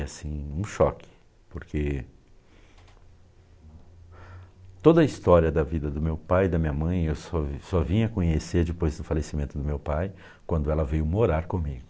E assim, um choque, porque toda a história da vida do meu pai e da minha mãe, eu só eu só vinha conhecer depois do falecimento do meu pai, quando ela veio morar comigo.